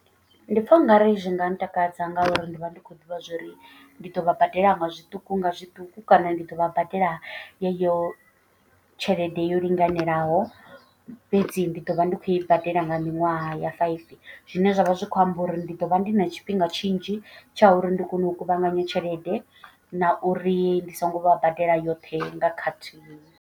Ndi pfha ungari zwi nga ntakadza nga uri ndi vha ndi khou ḓivha zwa uri ndi ḓo vha badela nga zwiṱuku nga zwiṱuku. Kana ndi ḓo vha badela yeyo tshelede yo linganelaho fhedzi ndi do vha ndi khou i badela nga miṅwaha ya five. Zwine zwavha zwi kho amba uri ndi ḓo vha ndi na tshifhinga tshinzhi tsha uri ndi kone u kuvhanganya tshelede. Na uri ndi songo vha badela yoṱhe nga khathihi.